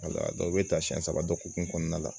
i bɛ taa siɲɛ saba dɔ hukumu kɔnɔna la